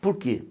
Por quê?